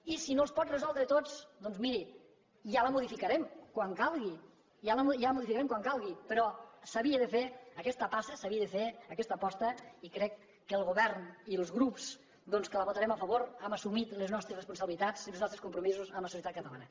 i si no els pot resoldre tots doncs miri ja la modificarem quan calgui ja la modificarem quan calgui però s’havia de fer aquesta passa s’havia de fer aquesta aposta i crec que el govern i els grups que la votarem a favor hem assumit les nostres responsabilitats i els nostres compromisos amb la societat catalana